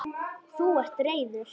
Þú ert reiður.